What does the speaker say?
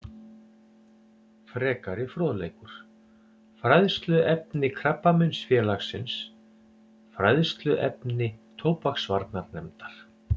Frekari fróðleikur: Fræðsluefni Krabbameinsfélagsins Fræðsluefni tóbaksvarnarnefndar